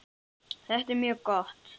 Þetta er mjög gott.